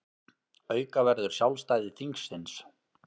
Auka verður sjálfstæði þingsins